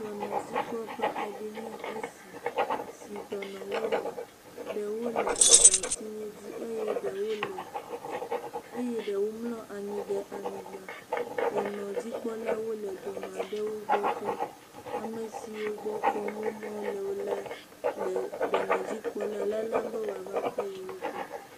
Dɔnɔdzikpɔƒɔ aɖe enye esi si dɔnɔwo le, eɖwo le abatiwo dzi eye ɖewo le ɖewo mlɔ anyi ɖe anyigba, dɔnɔdzikpɔlawo le dɔnɔ aɖewo gbɔ kpɔm, ame siwo gbɔ kpɔm wo mele o la, le dɔnɔdzikpɔla lalam be wòava kpɔ yewo gbɔ.